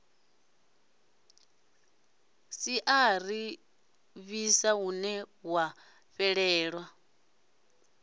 siaṱari ḽiswa hune ya fhelela